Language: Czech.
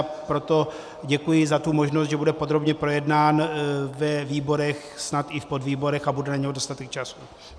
A proto děkuji za tu možnost, že bude podrobně projednán ve výborech, snad i v podvýborech a bude na něj dostatek času.